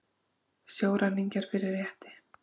Sjóræningjar fyrir rétti